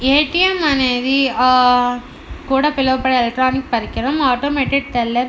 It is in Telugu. ఏ. టి. ఎం. అనేది ఆ కూడా పిలవబడే ఎలక్ట్రానిక్ పరికరం ఆటోమేటెడ్ టెల్లర్ --